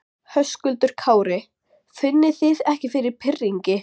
Höskuldur Kári: Finnið þið ekki fyrir pirringi?